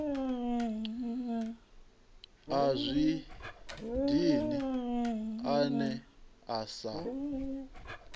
a zwi dini ane asa